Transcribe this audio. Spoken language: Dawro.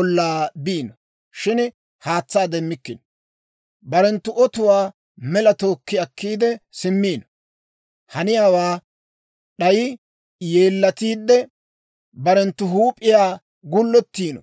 ollaa biino; shin haatsaa demmikkino. Barenttu otuwaa mela tookki akkiide simmiino. Haniyaawaa d'ayi yeellatiide, barenttu huup'iyaa gullettiino.